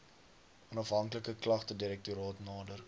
onafhanklike klagtedirektoraat nader